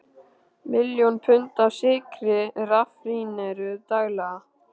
Miljón pund af sykri raffíneruð daglega.